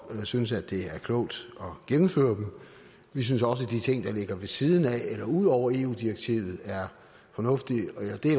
synes at det er klogt at gennemføre dem vi synes også at de ting der ligger ved siden af eller ud over eu direktivet er fornuftige